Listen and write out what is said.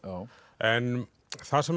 en það sem